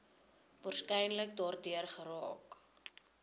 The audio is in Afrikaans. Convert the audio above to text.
waarskynlik daardeur geraak